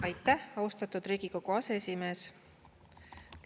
Aitäh, austatud Riigikogu aseesimees!